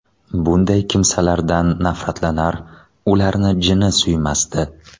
Bunday kimsalardan nafratlanar, ularni jini suymasdi.